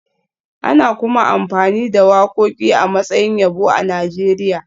Ana kuma amfani da wakoki a matsayin yabo a Najeriya